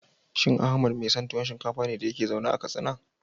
Shin Ahmad mai son tuwo shinkafa ne lokacin da yake zaune a Katsina?